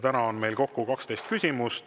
Täna on meil kokku 12 küsimust.